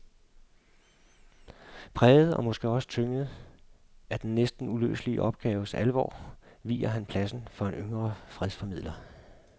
Præget og måske også tynget af den næsten uløselige opgaves alvor viger han pladsen for en yngre fredsformidler.